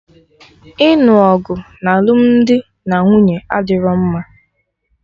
Ịnụ ọgụ na alụmdi na nwunye adịro mma